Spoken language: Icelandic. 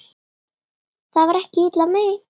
Það var ekki illa meint.